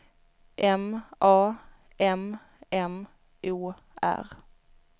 M A M M O R